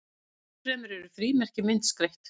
enn fremur eru frímerki myndskreytt